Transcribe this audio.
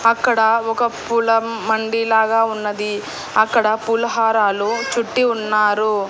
అక్కడ ఒక పూల మండి లాగా ఉన్నది అక్కడ పూల హారాలు చుట్టి ఉన్నారు.